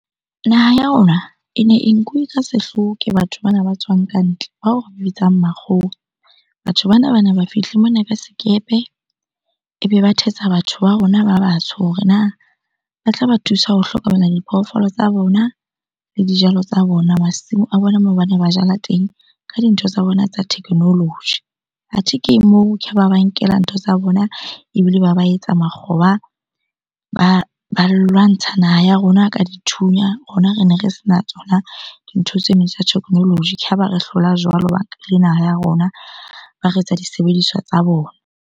Naha ya rona e ne e nkuwe ka sehlooho ke batho bana ba tswang kantle, bao bitsang makgowa. Batho bana bane ba fihle mona ka sekepe, ebe ba thetsa batho ba rona ba batsho hore na ba tlaba thusa ho hlokomela diphoofolo tsa bona le dijalo tsa bona. Masimo a bona moo bane ba jala teng ka dintho tsa bona tsa technology. Athe ke moo ke ha ba ba nkela ntho tsa bona ebile ba ba etsa makgoba. Ba lwantsha naha ya rona ka dithunya, rona re ne re sena tsona dintho tseno tsa technology. Ke ha ba re hlola jwalo le naha ya rona, ba re etsa disebediswa tsa bona.